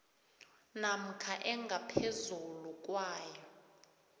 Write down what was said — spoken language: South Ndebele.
namkha engaphezulu kwayo